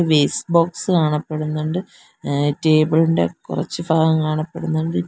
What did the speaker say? waste box കാണപ്പെടുന്നുണ്ട് a table ഇന്റെ കുറച്ചു ഫാഗം കാണപ്പെടുന്നുണ്ട് ടി--